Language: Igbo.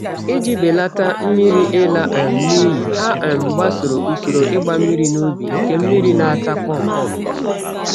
Iji belata mmiri ịla um n'iyi, ha um gbasoro usoro ịgba mmiri n'ubi nke mmiri na-ata kpọm-kpọm